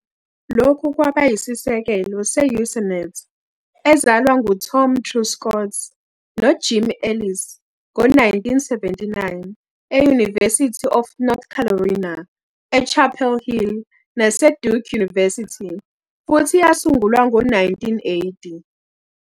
Lokhu kwaba yisisekelo se-Usenet, ezalwa nguTom Truscott noJim Ellis ngo-1979 e-University of North Carolina eChapel Hill naseDuke University, futhi yasungulwa ngo-1980.